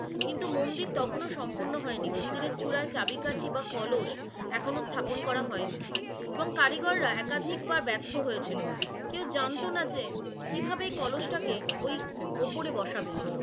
কিন্তু মন্দির তখনও সম্পূর্ণ হয়নি, মন্দিরের চূড়ায় চাবিকাঠি বা কলস এখনো স্থাপন করা হয়নি, এবং কারিগর রা একাধিক বার ব্যার্থ হয়েছিল। কেও জানতো না যে কিভাবে এই কলসটাকে ওই ওপরে বসাবে,